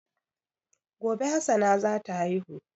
Gobe Hassana zata haihu